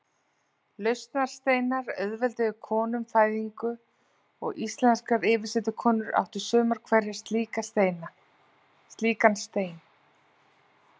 Lausnarsteinar auðvelduðu konum fæðingu og íslenskar yfirsetukonur áttu sumar hverjar slíkan stein.